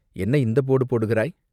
என்ன இந்தப் போடு போடுகிறாய்?